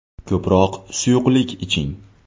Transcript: Ko‘proq suyuqlik iching .